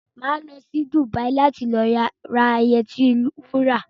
Máa lọ sí Dùbàyí láti lọ ra yẹtí wura